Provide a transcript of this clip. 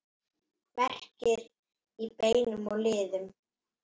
Verkir í beinum og liðum